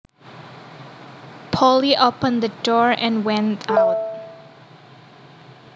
Polly opened the door and went out